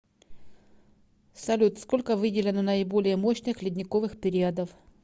салют сколько выделено наиболее мощных ледниковых периодов